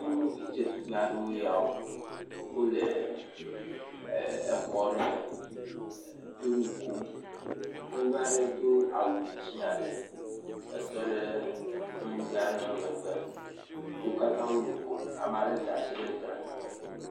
Nyɔnuvi dzetugbe aɖewoe yawo wole xɔ aɖe me ye wo nukom nyɔnua aɖe do awu dzĩ aɖe tɔɖe nyɔnuvi aɖe ƒe megbe wo katã wo nukom ame aɖe da asi ɖe gla